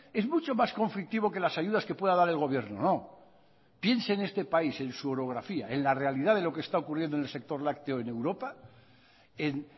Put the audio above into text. es mucho más conflictivo que las ayudas que puedan dar el gobierno no piense en este país en su orografía en la realidad de lo que está ocurriendo en el sector lácteo en europa en